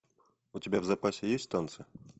у тебя в запасе есть танцы